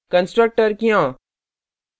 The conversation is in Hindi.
constructor क्यों